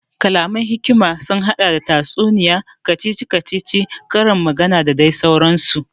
Kalaman hikima sun haɗa da tatsuniya, kacici kacici, ƙarin magana da dai sauran su